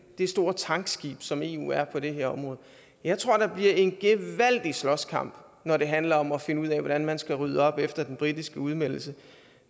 store tankskib som eu er på det her område jeg tror der bliver en gevaldig slåskamp når det handler om at finde ud af hvordan man skal rydde op efter den britiske udmeldelse